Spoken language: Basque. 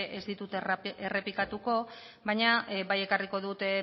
ez ditut errepikatuko baina bai ekarriko dut